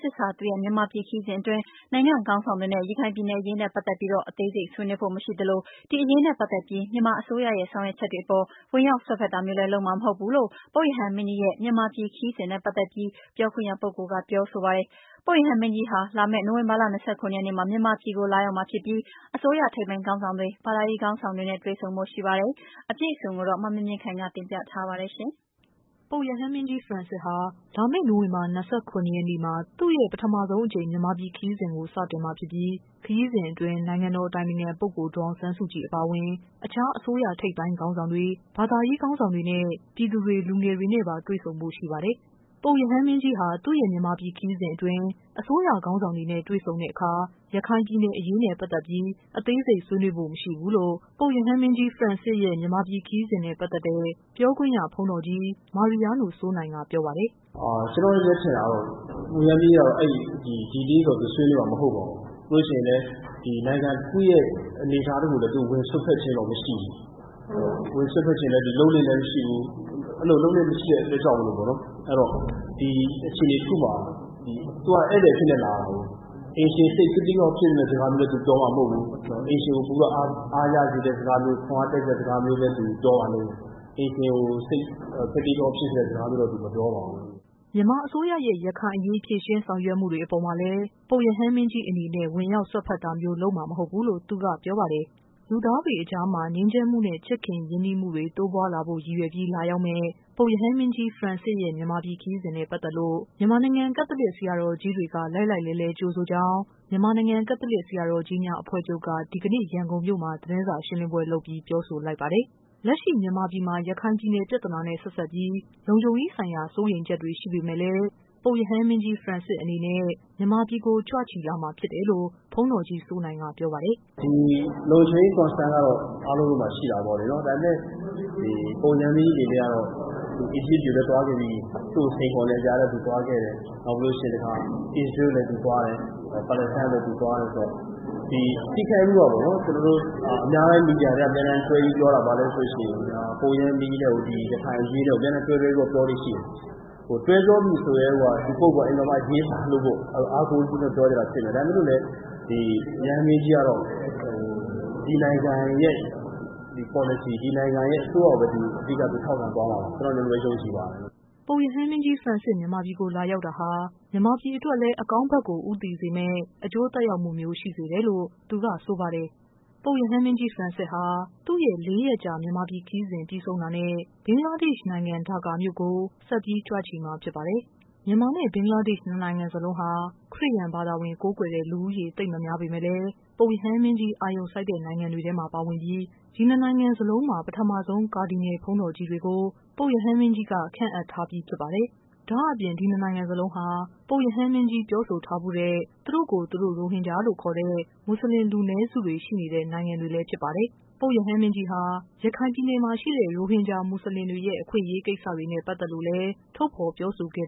စစ်စ်ဟာ သူ့ရဲ့ မြန်မာပြည် ခရီးစဉ်အတွင်း နိုင်ငံ့ခေါင်းဆောင်တွေနဲ့ တွေ့ဆုံတဲ့ အခါ ရခိုင်ပြည်နယ်အရေးနဲ့ ပတ်သက်ပြီး အသေးစိတ် ဆွေးနွေးဖို့ မရှိသလို ရခိုင်အရေးနဲ့ ပတ်သက်ပြီး မြန်မာ အစိုးရရဲ့ ဆောင်ရွက်ချက်တွေအပေါ် ဝင်ရောက် စွက်ဖက်တာမျိုးလဲ လုပ်မှာမဟုတ်ဘူးလို့ ပုပ် ရဟန်းမင်းကြီးရဲ့ မြန်မာပြည်ခရီးစဉ်နဲ့ပတ်သက်ပြီး ပြောခွင့်ရပုဂ္ဂိုလ်က ပြောဆိုလိုက်ပါတယ်။ ပုပ်ရဟန်း မင်းကြီး ဖရန့်စစ်စ်ဟာ လာမယ့် နိုဝင်ဘာ ၂၇ရက်နေ့မှာ မြန်မာပြည်ကို လာရောက်မှာ ဖြစ်ပြီး အစိုးရ ထိပ်ပိုင်းခေါင်းဆောင်တွေ၊ ဘာသာရေးခေါင်းဆောင်တွေနဲ့ တွေ့ဆုံဖို့ ရှိနေတာပါ။ သတင်း အပြည့်အစုံ ကိုတော့ ဗွီအိုအေ မြန်မာပိုင်း သတင်းထောက် မမြင့်မြင့်ခိုင်က တင်ပြပေးပါမယ်။ ပုပ်ရဟန်းမင်းကြီး ဖရန်စစ်စ်ဟာ လာမယ့် နိုဝင်ဘာ ၂၇ရက်နေ့မှာ သူ့ရဲ့ ပထမဆုံးအကြိမ် မြန်မာပြည် ခရီးစဉ်ကို စတင်မှာဖြစ်ပြီး ခရီးစဉ်အတွင်း နိုင်ငံတော် အတိုင်ပင်ခံပုဂ္ဂိုလ် ဒေါ်အောင်ဆန်းစုကြည်အပါ အဝင် အခြား အစိုးရ ထိပ်ပိုင်းခေါင်းဆောင်တွေ၊ ဘာသာရေး ခေါင်းဆောင်တွေ၊ ပြည်သူတွေ၊ လူငယ် တွေနဲ့ တွေ့ဆုံဖို့ ရှိပါတယ်။ ပုပ်ရဟန်းမင်းကြီးဟာ သူ့ရဲ့ မြန်မာပြည် ခရီးစဉ်အတွင်း အစိုးရခေါင်းဆောင်တွေနဲ့ တွေ့ဆုံတဲ့အခါ ရခိုင် ပြည်နယ်အရေးနဲ့ ပတ်သက်ပြီး အသေးစိတ် ဆွေးနွေးဖို့မရှိဘူးလို့ ပုပ်ရဟန်း မင်းကြီး ဖရန်စစ်စ်ရဲ့ မြန် မာပြည် ခရီးစဉ်နဲ့ ပတ်သက်တဲ့ ပြောခွင့်ရပုဂ္ဂိုလ် ဘုန်းတော်ကြီး မာရီယားနို စိုးနိုင်က ပြောပါတယ်။ “ကျနေ်ာ့အထင်ကတော့ ဒီအရေးတော့ သူဆွေးနွေးမှာမဟုတ်ပါဘူး၊ ပြီးလို့ရှိရင်လည်း နိုင်ငံတခုရဲ့အနေအထားတခုကိုတော့ ဝင်စွက်ဖက်ခြင်းတော့မရှိဘူး။ လုပ်လေ့လည်းမရှိဘူး။ အဲဒီလို လုပ်လေ့လဲမရှိတဲ့အတွက်ကြောင့်မို့လို့ သူကအခြေအနေတခုမှာ သူကဧည့်သည်အဖြစ်နဲ့လာတယ်ဆိုတော့ အိမ်ရှင်စိတ်ကသိကအောင့်ဖြစ်မယ့်စကားလည်းသူပြောမှာမဟုတ်ဘူး။ အိမ်ရှင်ကို ပိုပြီးတော့ အားရစေတဲ့စကားမျိုး ခွန်အားဖြစ်စေတဲ့စကားမျိုးပဲ သူပြောပါလိမ့်မယ်။ အိမ်ရှင်စိတ်ကို စိတ်ကသိကအောင့် ဖြစ်စေမယ့်စကားတော့ သူပြောမှာမဟုတ်ပါဘူး။” မြန်မာအစိုးရရဲ့ ရခိုင်အရေး ဖြေရှင်းဆောင်ရွက်ချက်တွေအပေါ်မှာလည်း ပုပ်ရဟန်းမင်းကြီးအနေနဲ့ ဝင် ရောက်စွက်ဖက်တာမျိုး လုပ်မှာ မဟုတ်ဘူးလို့လည်း သူက ပြောပါတယ်။ လူသားတွေအကြားမှာ ငြိမ်းချမ်းမှုနဲ့ ရင်းနှီးချစ်ခင်မှုတွေ တိုးပွားလာဖို့ ရည်ရွယ်ပြီး လာရောက်မယ့် ပုပ် ရဟန်းမင်းကြီး ဖရန်စစ်စ်ရဲ့ မြန်မာပြည်ခရီးစဉ်နဲ့ ပတ်သက်လို့ မြန်မာနိုင်ငံ ကက်သလစ် ဆရာတော် ကြီးတွေက လှိုက်လှိုက်လှဲလှဲ ကြိုဆိုကြောင်း မြန်မာနိုင်ငံ ကက်သလစ် ဆရာတော်ကြီးများအဖွဲ့ချုုပ်က ဒီကနေ့ ရန်ကုန်မြို့မှာ သတင်းစာရှင်းလင်းပွဲလုပ်ပြီး ပြောဆိုလိုက်ပါတယ်။ လက်ရှိ မြန်မာပြည်မှာ ရခိုင်ပြည်နယ် ပြဿနာနဲ့ ဆက်စပ်ပြီး လုံခြုံရေး ဆိုင်ရာ စိုးရိမ်ချက်တွေရှိပေမယ့် လည်း ပုပ်ရဟန်းမင်းကြီး ဖရန်စစ်အနေနဲ့ မြန်မာပြည်ကို ကြွချီလာမှာဖြစ်တယ်လို့ ဘုန်းတော်ကြီး စိုး နိုင်က ပြောပါတယ်။ “ဒီ လုံခြုံရေး Concern ကတော့ အားလုံးမှာရှိတာပေါ့လေနော်။ ဒါပေမယ့် ပုပ်ရဟန်းမင်းကြီးအနေနဲ့ကတော့ အီဂျစ်ပြည်ကိုလည်း သွားခဲ့ပြီးပြီ။ သူ့ကိုစိန်ခေါ်နေတဲ့ကြားထဲသူသွားခဲ့တယ်။ နောက်ပြီးတော့ အစ္စရေးကိုလည်းသူသွားတယ်၊ Palestine ကိုလည်းသူသွားတယ်ဆိုတော့ ဒီအများပိုင်းမီဒီယာတွေက တွဲပြီးပြောတာဘာလဲဆိုရင် ပုပ်ရဟန်းမင်းကြီးနဲ့ကို ရခိုင်အရေးနဲ့ကို အမြဲတမ်းတွဲတွဲပြီးပြောတာရှိတယ်။ တွဲပြောပြီဆိုကတည်းကိုက ဒီ ပုဂ္ဂိုလ်က အရေးပါလို့ပေါ့နော် အားကိုးတကြီးမို့လို့ပြောတာဖြစ်မယ်။ ဒါပေမယ့်လို့ ပုပ်ရဟန်းမင်းကြီးကတော့ ဒီနိုင်ငံရဲ့ ပေါ်လစီ၊ ဒီနိုင်ငံရဲ့ အစိုးရကိုပဲ သူထောက်ခံသွားမှာပါ ကျနော်တို့ကတော့ ဒီလိုပဲ ယုံကြည်ပါတယ်။” ပုပ်ရဟန်းမင်းကြီး ဖရန်စစ်စ် မြန်မာပြည်ကို လာရောက်တာဟာ မြန်မာပြည်အတွက်လည်း အကောင်း ဘက်ကို ဦးတည်စေမယ့် အကျိုး သက်ရောက်မှုမျိုး ရှိစေမယ်လို့လည်း သူကဆိုပါတယ်။ ပုပ်ရဟန်း မင်းကြီး ဖရန်စစ်စ်ဟာ သူ့ရဲ့ ၄ရက်ကြာ မြန်မာပြည်ခရီးစဉ်ပြီးဆုံးတာနဲ့ ဘင်္ဂလားဒေ့ရှ်နိုင်ငံ ဒါ ကာမြို့ကို ဆက်ပြီး ကြွချီမှာဖြစ်ပါတယ်။ မြန်မာနဲ့ ဘင်္ဂလားဒေ့ရှ် နှစ်နိုင်ငံစလုံးဟာ ခရစ်ယာန် ဘာသာ ကိုးကွယ်တဲ့ လူဦးရေ သိပ်မများပေမယ့်လည်း ပုပ်ရဟန်းမင်းကြီး အာရုံစိုက်တဲ့နိုင်ငံတွေထဲမှာ ပါဝင်ပြီး ဒီနှစ်နိုင်ငံ စလုံးမှာ ပထမဆုံး ကာဒီနယ်လ်ဘုန်းတော်ကြီးတွေကို ပုပ်ရဟန်းမင်းကြီးက ခန့်အပ်ထားပြီး ဖြစ်ပါတယ်။ ဒါ့အပြင် ဒီနှစ်နိုင်ငံစလုံးဟာ ပုပ်ရဟန်းမင်းကြီး ပြောဆိုထားဖူးတဲ့ သူတို့ကိုယ် သူတို့ ရိုဟင် ဂျာလို့ ခေါ်တဲ့ မွတ်စလင် လူနည်းစုတွေ ရှိနေတဲ့ နိုင်ငံတွေလည်းဖြစ်ပါတယ်။ ပုပ်ရဟန်းမင်းကြီးဟာ ရခိုင် ပြည်နယ်မှာရှိတဲ့ ရိုဟင်ဂျာ မွတ်ဆလင်တွေရဲ့ အခွင့်အရေး ကိစ္စတွေနဲ့ ပတ်သက်လို့ ထုတ်ဖော် ပြောဆိုခဲ့